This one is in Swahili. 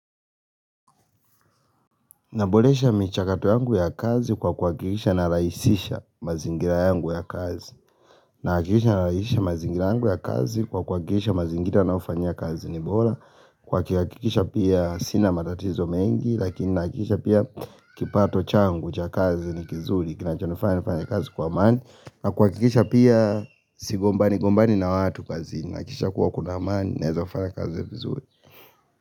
Naboresha michakato yangu ya kazi kwa kuhakikisha ninarahisisha mazingira yangu ya kazi. Ninahakikisha ninarahisisha mazingira yangu ya kazi kwa kuhakikisha mazingira ninayofanyia kazi ni bora. Kwa kuhakikisha pia sina matatizo mengi lakini nahakikisha pia kipato changu cha kazi ni kizuri. Kinachonifanya nifanye kazi kwa amani nakuhakikisha pia sigombani gombani na watu kazini. Nahakikisha kuwa kuna amani naweza fanya kazi vizuri.